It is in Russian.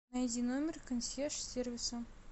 найди номер консьерж сервиса